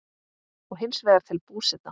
og hins vegar til Búseta.